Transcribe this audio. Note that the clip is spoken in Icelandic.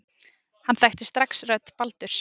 Hann þekkti strax rödd Baldurs.